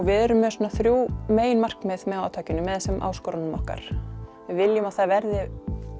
við erum með þrjú meginmarkmið með átakinu þessum áskorunum okkar við viljum að það verði